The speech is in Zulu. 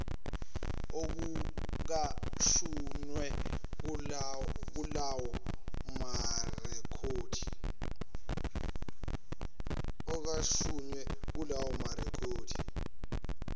okucashunwe kulawo marekhodi